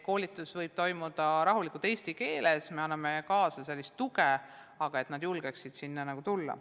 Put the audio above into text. Koolitus võib toimuda rahulikult eesti keeles, me tagame sellise toe, et nad julgeksid sinna tulla.